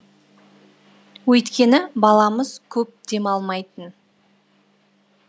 өйткені баламыз көп демалмайтын